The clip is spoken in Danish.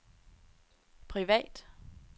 privat